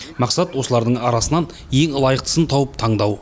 мақсат осылардың арасынан ең лайықтысын тауып таңдау